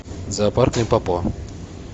зоопарк лимпопо